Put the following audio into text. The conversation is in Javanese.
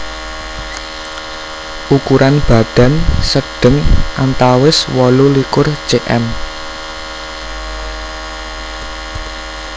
Ukuran badan sedheng antawis wolu likur cm